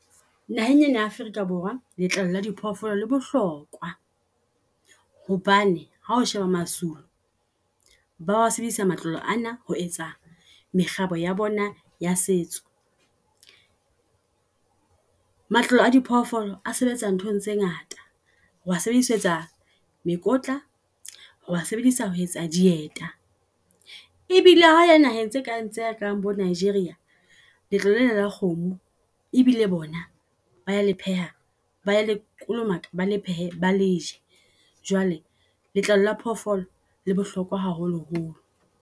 Naheng ena ya Africa Borwa letlalo la di phoofolo le bohlokoa hobane hao sheba masulu ba sebedisa matlalo ana ho etsa mekgabo ya bona ya setso. Matlalo a diphoofolo a sebetsa nthong tse ngata. O a sebedisetsa mekotla, oa sebedisetsa ho etsa dieta. E bile ha ele naheng tse kareng tsa bo Nigeria letlalo lena la kgomo e bile bona ba le pheha, baya le kolomaka bale phehe ba leje. Jwale letlalo la phoofolo le bohlokwa haholo holo.